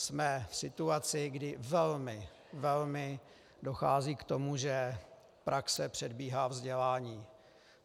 Jsme v situaci, kdy velmi, velmi dochází k tomu, že praxe předbíhá vzdělání.